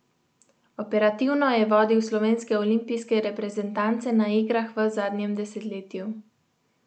Operativno je vodil slovenske olimpijske reprezentance na igrah v zadnjem desetletju.